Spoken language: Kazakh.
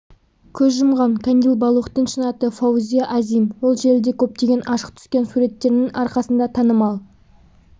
көз жұмған кандил балухтың шын аты фаузия азим ол желіде көптеген ашық түскен суреттерінің арқасында танымал